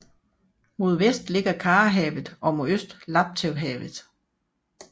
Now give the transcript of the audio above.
Mod vest ligger Karahavet og mod øst Laptevhavet